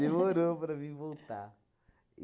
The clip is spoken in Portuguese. Demorou para mim voltar.